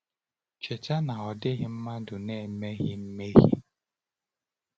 Cheta na ọ dịghị mmadụ na-emeghị mmehie.